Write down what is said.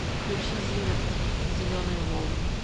включи зиверт зеленые волны